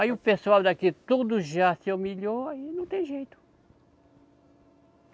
Aí o pessoal daqui, todos já se humilhou, aí não tem jeito.